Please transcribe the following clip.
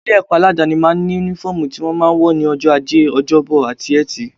Àwọn ilé-ẹ̀kọ́ aládááni máa ń ní Únífọ́ọ̀mù tí wọ́n máa ń wọ̀ ní ọjọ́ ajé, ọjọ́bọ àti Ẹtì